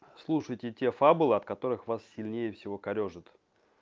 слушайте те фабула от которых вас сильнее всего корёжит